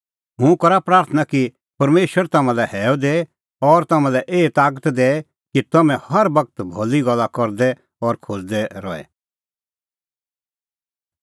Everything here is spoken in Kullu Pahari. हुंह करा प्राथणां कि परमेशर तम्हां लै हैअ दैए और तम्हां लै एही तागत दैए कि तम्हैं हर बगत भली गल्ला करदै और खोज़दै रहे